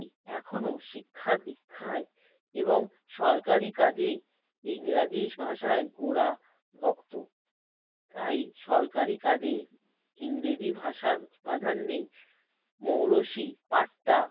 এখনও শিক্ষা-দীক্ষায় এবং সরকারি কাজে ইংরাজি ভাষায় ওরা ভক্ত। তাই সরকারি কাজে ইংরেজি ভাষার প্রাধান্যে মৌরসি পাটতা